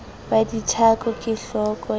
wa dithako ke hohloka a